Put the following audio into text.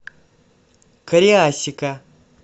кариасика